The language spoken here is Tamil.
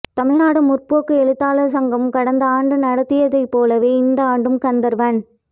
தமிழ்நாடு முற்போக்கு எழுத்தாளர் சங்கம் கடந்த ஆண்டு நடத்தியது போலவே இந்தஆண்டும் கந்தர்வன்